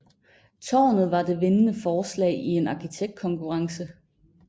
Tårnet var det vindende forslag i en arkitektkonkurrence